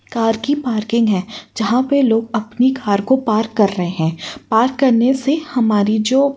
Car की parking है जहां पे लोग अपनी कार को पार्क कर रहे हैं। पार्क करने से हमारी जो --